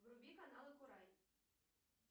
вруби каналы курай